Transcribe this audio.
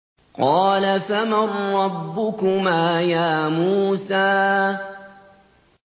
قَالَ فَمَن رَّبُّكُمَا يَا مُوسَىٰ